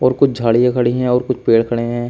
और कुछ झाड़ियां खड़ी हैं और कुछ पेड़ खड़े हैं।